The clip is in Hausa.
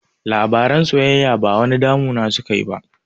Labaran soyayya ba wani damu na suka yi ba